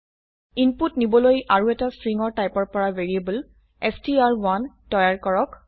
input নিবলৈ আৰুএটা string টাইপৰ এটা ভ্যাৰিয়েবল ষ্ট্ৰ1 তৈয়াৰ কৰক